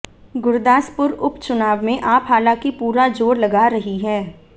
गुरदासपुर उप चुनाव में आप हालांकि पूरा जोर लगा रही है